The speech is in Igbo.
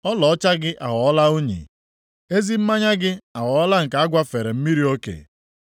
Ọlaọcha gị aghọọla unyi, ezi mmanya gị aghọọla nke a gwafere mmiri oke.